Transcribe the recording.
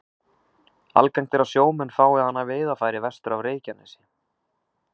Algengt er að sjómenn fái hana í veiðarfæri vestur af Reykjanesi.